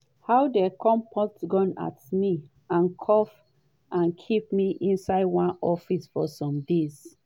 “how dem point gun at me handcuff and keep me inside one office for some days.